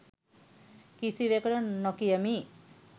කිසිවෙකුට නොකියමි.